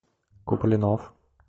куплинов